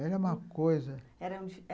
Era uma coisa. Era